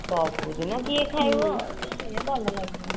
ସବୁଦିନ କିଏ ଖାଇବା ସେ ଭଲ ଲାଗିବନି